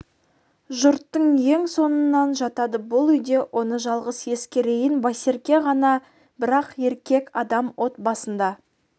жұрттың ең соңынан жатады бұл үйде оны жалғыз есіркейтін байсерке ғана бірақ еркек адам от басында